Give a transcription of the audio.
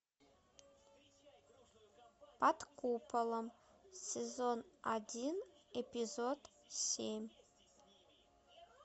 под куполом сезон один эпизод семь